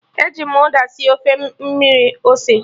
E ji m uda sie Ofe mmiri ose